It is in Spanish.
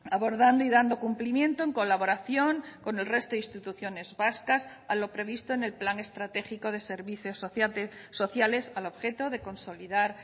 abordando y dando cumplimiento en colaboración con el resto de instituciones vascas a lo previsto en el plan estratégico de servicios sociales al objeto de consolidar